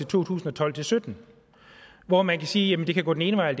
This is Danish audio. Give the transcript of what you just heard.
tusind og tolv til sytten hvor man kan sige at det kan gå den ene vej